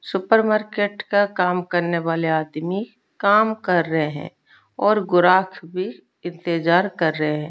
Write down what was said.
Supermarket का काम करने वाले आदमी काम कर रहे हैं और गोराख भी इंतजार कर रहे हैं।